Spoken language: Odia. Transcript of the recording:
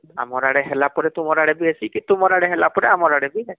ଆମର ଆଡେ ହେଲା ପରେ ତୁମର ଆଡେ ହେସି କି ତୁମର ଆଡେ ହେଲା ପରେ ଆମର ଆଡେ ବି ହେସି